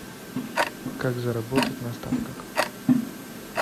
как заработать на ставках